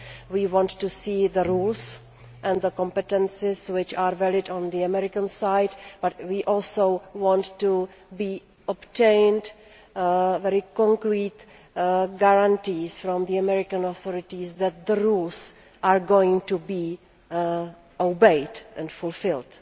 We want to see the rules and the competences, which are varied on the American side, but we also want to obtain very concrete guarantees from the American authorities that the rules are going to be obeyed and fulfilled.